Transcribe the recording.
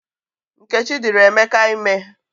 Nkechi dịrị Emeka ime